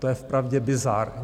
To je vpravdě bizár.